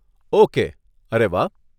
Okay, અરે વાહ.